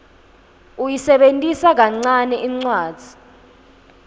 uyisebentisa kancane incwadzi